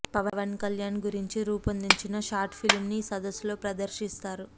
పవన్ కళ్యాణ్గురించి రూపొందించిన షార్ట్ ఫిలింను ఈ సదస్సులో ప్రదర్శిస్తారు